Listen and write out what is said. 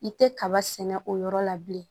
I tɛ kaba sɛnɛ o yɔrɔ la bilen